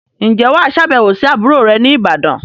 Ǹjẹ́ wà á sàbẹ̀wò sí àbúrò rẹ ní'bàdàn?